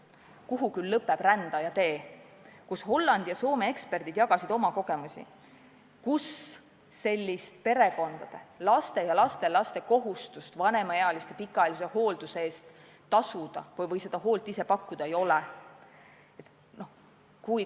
Kuhu küll lõpeb rändaja tee?", kus Hollandi ja Soome eksperdid jagasid oma kogemusi süsteemi puhul, kus sellist laste ja lastelaste kohustust vanemaealiste pikaajalise hoolduse eest tasuda või seda hoolt ise pakkuda ei ole.